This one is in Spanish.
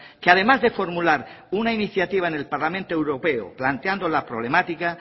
que además de formular una iniciativa en el parlamento europeo planteando la problemática